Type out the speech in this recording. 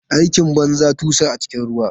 Aikin banza, tusa a cikin ruwa.